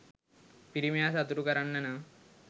පිරිමියා සතුටු කරන්න නම්